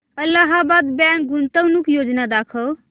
Allahabad bank गुंतवणूक योजना दाखव